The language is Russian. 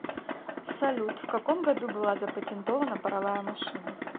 салют в каком году была запатентована паровая машина